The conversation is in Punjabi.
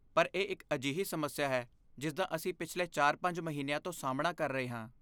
ਪਰ ਇਹ ਇੱਕ ਅਜਿਹੀ ਸਮੱਸਿਆ ਹੈ ਜਿਸ ਦਾ ਅਸੀਂ ਪਿਛਲੇ ਚਾਰ ਪੰਜ ਮਹੀਨਿਆਂ ਤੋਂ ਸਾਹਮਣਾ ਕਰ ਰਹੇ ਹਾਂ